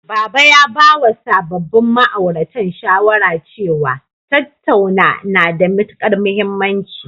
Baba ya bawa sababbin ma'auratan shawara cewa, tattauna na da matuƙar mahimmanci.